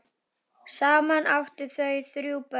Saman áttu þau þrjú börn.